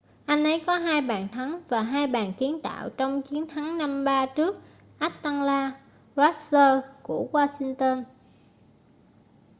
anh ấy có 2 bàn thắng và 2 bàn kiến tạo trong chiến thắng 5-3 trước atlanta thrashers của washington